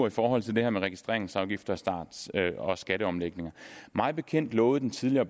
i forhold til det her med registreringsafgifter og skatteomlægninger mig bekendt lovede den tidligere